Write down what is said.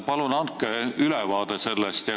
Palun andke sellest ülevaade!